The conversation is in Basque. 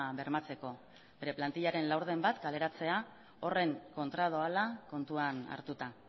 bermatzeko bere plantilaren laurden bat kaleratzea horren kontra doala kontuan hartuta